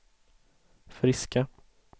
friska